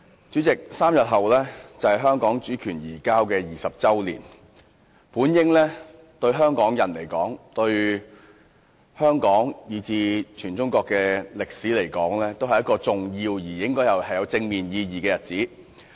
主席 ，3 天後便是香港主權移交20周年，這對香港人，以至對香港和全中國的歷史來說，本應是一個重要且具有正面意義的日子。